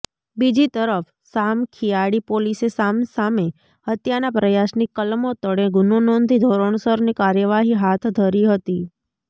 બીજીતરફ સામખિયાળી પોલીસે સામેસામે હત્યાના પ્રયાસની કલમો તળે ગુનો નોંધી ધોરણસરની કાર્યવાહી હાથ ધરી હતી